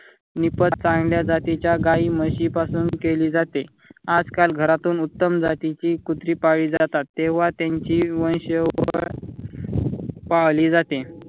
निपात चांगल्या जातीच्या गाई म्हशीपासून केली जाते. आज काळ घरातून उत्तम जातीची कुत्री पाळली जातात. तेंव्हा त्यांची वंशावळ पाहली जाते.